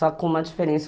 Só com uma diferença.